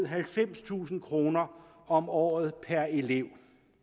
halvfemstusind kroner om året per elev